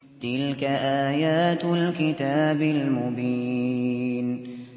تِلْكَ آيَاتُ الْكِتَابِ الْمُبِينِ